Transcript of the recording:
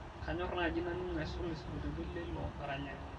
kanyor naaji naning' aisul isingolioitin leilo aranyani